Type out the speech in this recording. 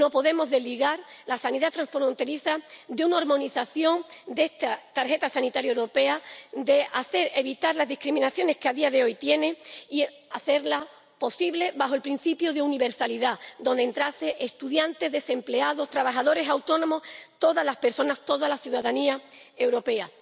No podemos desligar la sanidad transfronteriza de una armonización de esta tarjeta sanitaria europea, para evitar las discriminaciones que a día de hoy conlleva, y habría que hacerla posible bajo el principio de universalidad, en el que entrasen estudiantes, desempleados, trabajadores autónomos, todas las personas, toda la ciudadanía europea.